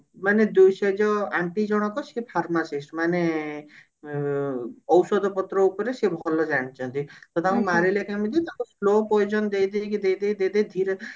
ମାନେ ଯୋ ସେ ଯୋ aunty ଜଣକ ସେ pharmacist ମାନେ ଉ ଔଷଧ ପତ୍ର ଉପରେ ସେ ଭଲ ଜାଣିଛନ୍ତି ତ ତାଙ୍କୁ ମାରିଲେ କେମିତି ତାଙ୍କୁ slow potion ଦେଇ ଦେଇକି ଦେଇ ଦେଇ ଧୀରେ